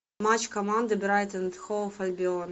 матч команды брайтон энд хоув альбион